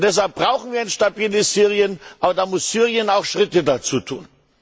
Und deshalb brauchen wir ein stabiles Syrien, aber da muss Syrien auch Schritte dazu tun.